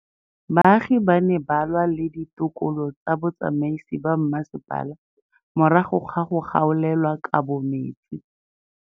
Baagi ba ne ba lwa le ditokolo tsa botsamaisi ba mmasepala morago ga go gaolelwa kabo metsi.